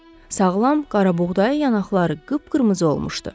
Sağlam, qarabuğdayı yanaqları qıpqırmızı olmuşdu.